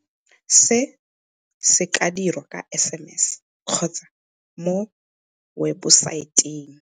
Se se ka dirwa ka SMS kgotsa mo webosaeteng.